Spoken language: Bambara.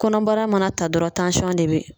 Kɔnɔbara mana ta dɔrɔn de be